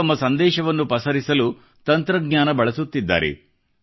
ಅವರು ತಮ್ಮ ಸಂದೇಶವನ್ನು ಪಸರಿಸಲು ತಂತ್ರಜ್ಞಾನ ಬಳಸುತ್ತಿದ್ದಾರೆ